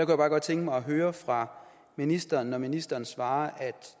bare godt tænke mig at høre fra ministeren hvad ministeren svarer